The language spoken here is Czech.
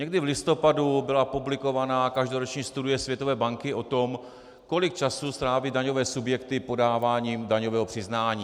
Někdy v listopadu byla publikovaná každoroční studie Světové banky o tom, kolik času stráví daňové subjekty podáváním daňového přiznání.